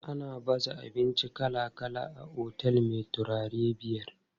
Ana baza abinci kala kala a otel me taurarai biyar.